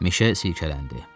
Meşə silkələndi.